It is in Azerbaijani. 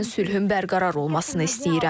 Mən sülhün bərqərar olmasını istəyirəm.